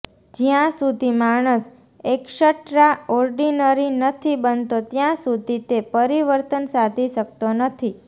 જયા સુધી માણસ extraordinary નથી બનતો ત્યાં સુધી તે પરિવર્તન સાધી શકતો નથી